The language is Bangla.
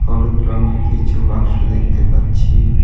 হলুদ রঙের কিছু বাক্স দেখতে পাচ্ছি .